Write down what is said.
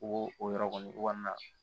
O o yɔrɔ kɔni o kɔni na